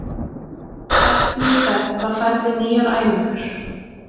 Hvert sem þú ferð þá færðu nýjar æfingar.